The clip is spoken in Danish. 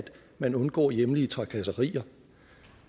man undgår hjemlige trakasserier